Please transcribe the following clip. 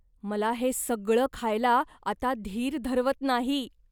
मला हे सगळं खायला आता धीर धरवत नाही.